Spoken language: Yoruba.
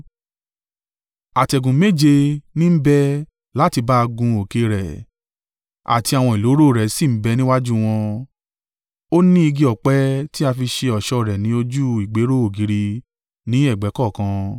Àtẹ̀gùn méje ní ń bẹ láti bá gun òkè rẹ̀, àti àwọn ìloro rẹ̀ sì ń bẹ níwájú wọn; Ó ní igi ọ̀pẹ tí a fi ṣe ọ̀ṣọ́ rẹ̀ ni ojú ìgbéró ògiri ní ẹ̀gbẹ́ kọ̀ọ̀kan.